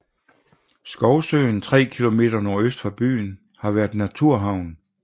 Skovsøen 3 km nordøst for byen har været en naturhavn